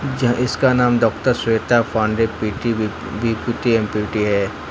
क्या इसका नाम doctor Shweta Pandey P T B P T M P T है।